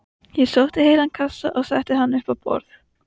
Ég sótti heilan kassa og setti hann upp á borð.